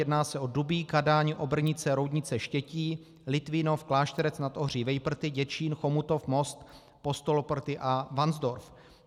Jedná se o Dubí, Kadaň, Obrnice, Roudnice, Štětí, Litvínov, Klášterec nad Ohří, Vejprty, Děčín, Chomutov, Most, Postoloprty a Varnsdorf.